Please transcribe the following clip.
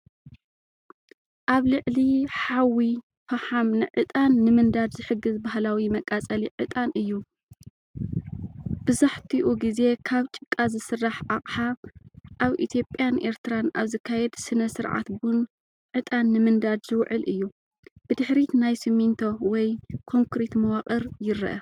ኣብ ልዕሊ ሓዊ ፈሓም ንዕጣን ንምንዳድ ዝሕግዝ ባህላዊ መቃጸሊ ዕጣን እዩ። ብዛሕትኡ ግዜ ካብ ጭቃ ዝስራሕ ኣቕሓ፡ ኣብ ኢትዮጵያን ኤርትራን ኣብ ዝካየድ ስነ-ስርዓት ቡን ዕጣን ንምንዳድ ዝውዕል እዩ። ብድሕሪት ናይ ሲሚንቶ ወይ ኮንክሪት መዋቕር ይርአ።